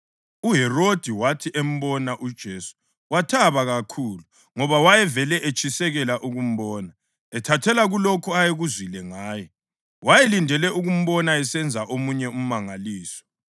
UHerodi wathi embona uJesu wathaba kakhulu ngoba wayevele etshisekela ukumbona. Ethathela kulokho ayekuzwile ngaye, wayelindele ukumbona esenza omunye umangaliso.